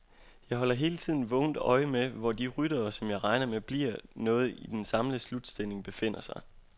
Jeg holder hele tiden vågent øje med, hvor de ryttere, som jeg regner med bliver noget i den samlede slutstilling, befinder sig.